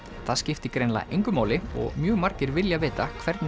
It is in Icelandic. það skiptir greinilega engu máli og mjög margir vilja vita hvernig